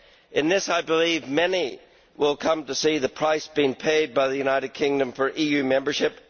In this, I believe, many will come to see the price being paid by the United Kingdom for EU membership.